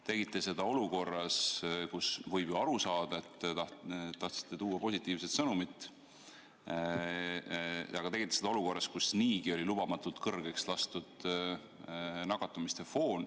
Te tegite seda olukorras, kus võis ju aru saada, et te tahtsite tuua positiivset sõnumit, aga te tegite seda olukorras, kus niigi oli nakatumise foon lubamatult kõrgeks lastud.